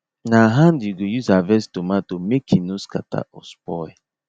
na hand you go use harvest tomato make e no scatter or spoil